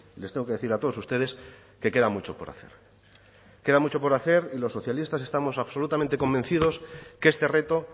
les tengo que decir a todos ustedes que queda mucho por hacer queda mucho por hacer y los socialistas estamos absolutamente convencidos que este reto